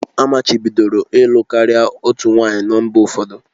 Amachibidoro ịlụ karịa otu nwanyị na mba ụfọdụ